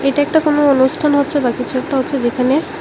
এটা একটা কোনো অনুষ্ঠান হচ্ছে বা কিছু একটা হচ্ছে যেখানে--